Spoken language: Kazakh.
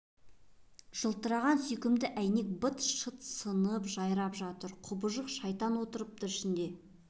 жылтыраған сүйкімді әйнек бейне быт-шыт сынып жайрап жатыр құбыжық шайтан отырыпты ішінде бұғынып